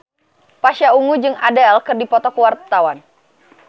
Pasha Ungu jeung Adele keur dipoto ku wartawan